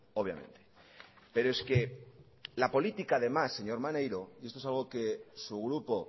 obviamente pero es que la política además señor maniero y esto es algo que su grupo